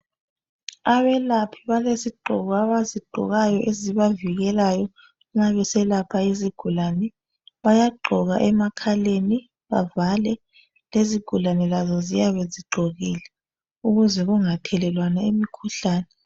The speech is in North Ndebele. Abelaphi balezigqoko abazigqokayo ezibavikelayo nxa beselapha izigulane, bayagqoka emakhaleni bavale lezigulane lazo ziyabe zigqokile ukuze kungathelelwana imikhuhlane.